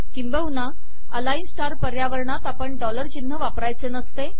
किंबहुना अलाइन स्टार पर्यावरणात आपण डॉलर चिन्ह वापरायचे नसते